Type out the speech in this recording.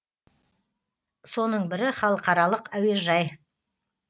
соның бірі халықаралық әуежей